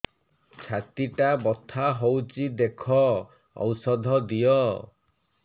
ଛାତି ଟା ବଥା ହଉଚି ଦେଖ ଔଷଧ ଦିଅ